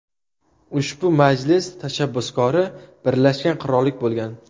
Ushbu majlis tashabbuskori Birlashgan qirollik bo‘lgan.